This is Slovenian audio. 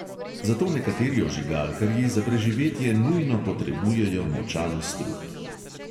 Zato nekateri ožigalkarji za preživetje nujno potrebujejo močan strup.